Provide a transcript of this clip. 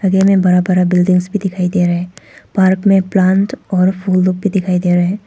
Side में बड़ा बड़ा बिल्डिंगस में दिखाई दे रहा है। पार्क में प्लांट और फूलों के दिखाई दे रहा है।